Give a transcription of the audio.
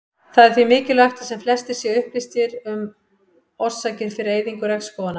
Það er því mikilvægt að sem flestir séu upplýstir um orsakir fyrir eyðingu regnskóganna.